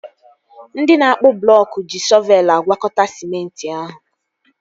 Ndị na-akpụ blọọk ji shọvelu agwakọta sịmenti ahụ